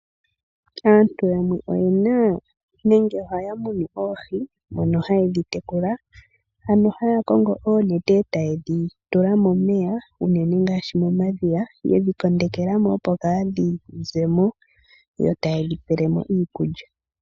Aantu yamwe ohaya munu oohi, mono haye dhi tekula, ano haya kongo oonete eta yedhi tula momeya unene ngaashi mo madhiya, yedhi kondekela mo opo kaadhi zemo, yo ta yedhi pelemo iikulya.